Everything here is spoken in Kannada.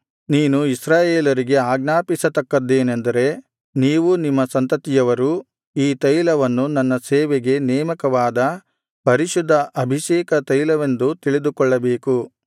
ನೀನು ಇಸ್ರಾಯೇಲರಿಗೆ ಆಜ್ಞಾಪಿಸತಕ್ಕದ್ದೇನೆಂದರೆ ನೀವೂ ನಿಮ್ಮ ಸಂತತಿಯವರೂ ಈ ತೈಲವನ್ನು ನನ್ನ ಸೇವೆಗೆ ನೇಮಕವಾದ ಪರಿಶುದ್ಧ ಅಭಿಷೇಕ ತೈಲವೆಂದು ತಿಳಿದುಕೊಳ್ಳಬೇಕು